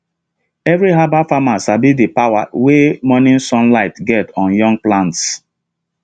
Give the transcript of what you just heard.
every herbal farmer sabi the power wey morning sunlight get on young plants